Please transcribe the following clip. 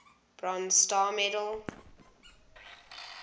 bronze star medal